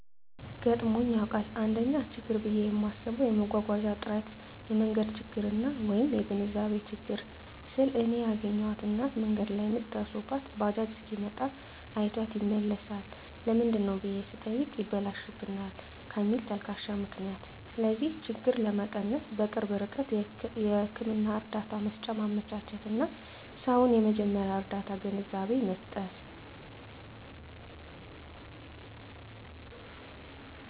ገጥሞኝ ያዉቃል: 1ኛ :ችግር ብየ ማስበዉ የመጓጓዣ እጥረት የመንገድ ችግርና : (የግንዛቤ ችግር) ስል እኔ ያገኘኋት እናት መንገድ ላይ ምጥ ደርሶባት ባጃጅ ሲመጣ አይቷት ይመለሳል ለምንድነው ብየ ስጠይቅ ይበላሽብናል ከሚል ተልካሻ ምክንያት ስለዚህ ችግር ለመቀነስ_በቅርብ ርቀት ህክምና እርዳታ መሰጫ ማመቻቸትና: ሰዉን የመጀመርያ ርዳታ ግንዛቤ መስጠት።